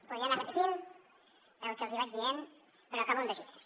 podria anar repetint el que els hi vaig dient però acabo amb dos idees